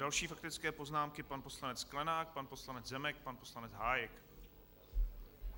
Další faktické poznámky - pan poslanec Sklenák, pan poslanec Zemek, pan poslanec Hájek.